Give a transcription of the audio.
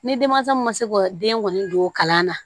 Ni denmansa min ma se ka den kɔni don kalan na